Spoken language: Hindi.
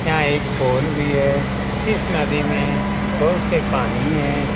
यहाँ एक पोल भी है इस नदी में बहुत से पानी हैं।